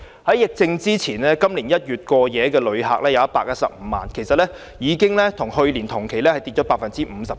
在疫症爆發前，今年1月有115萬過夜遊客，跟去年同期相比，已下跌 57%。